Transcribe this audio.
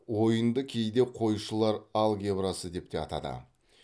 ойынды кейде қойшылар алгебрасы деп те атады